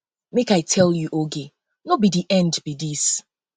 make i tell um you oge no be the end um be um dis